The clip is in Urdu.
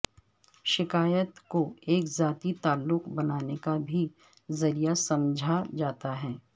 شکایت کو ایک ذاتی تعلق بنانے کا بھی ذریعہ سمجھا جاتا ہے